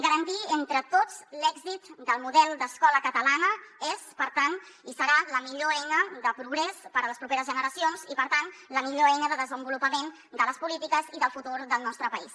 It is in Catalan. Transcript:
garantir entre tots l’èxit del model d’escola catalana és per tant i serà la millor eina de progrés per a les properes generacions i per tant la millor eina de desenvolupament de les polítiques i del futur del nostre país